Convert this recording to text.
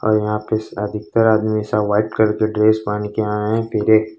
और यहां पे सादी कर में सब व्हाइट कलर ड्रेस पहन के आए हैं पीले--